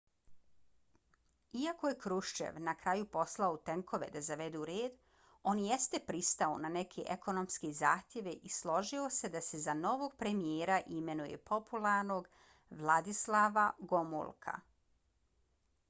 iako je krushchev na kraju poslao tenkove da zavedu red on jeste pristao na neke ekonomske zahtjeve i složio se da se za novog premijera imenuje popularnog wladyslava gomulka